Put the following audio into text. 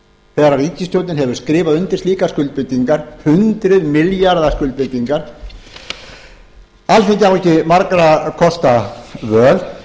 þegar ríkisstjórnin hefur skrifað undir slíkar skuldbindingar undir milljarða skuldbindingar alþingi á ekki margra kosta völ